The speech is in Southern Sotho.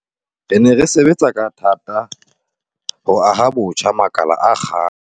Re ne re sebetsa ka thata ho aha botjha makala a akgang